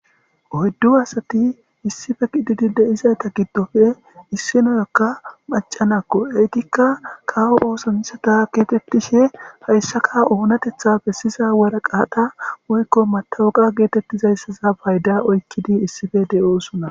oyddu asati issife qididi deizayta giddofe issinoyakka macanakko eytikka kawo oosamisata geetettishe hayssaka oonatethafe siza waraqahata woykko matawoqa geetettizayssaza payda oykkidi issife de7oosunna